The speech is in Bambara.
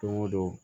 Don o don